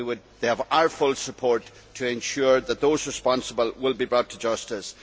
They have our full support to ensure that those responsible will be brought to justice.